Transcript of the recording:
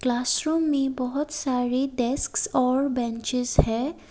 Classroom में बहुत सारे डेक्स और बेंचेज है।